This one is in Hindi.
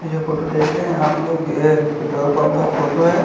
ये जो फोटो देख रहे है आप लोग ये पेट्रोल पम्प का फोटो है।